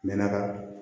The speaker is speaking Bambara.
Mɛ na ka